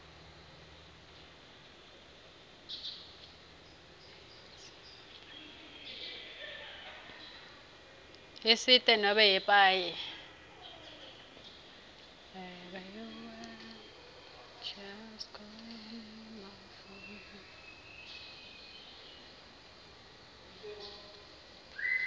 yesite nobe yepaye